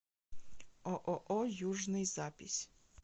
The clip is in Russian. ооо южный запись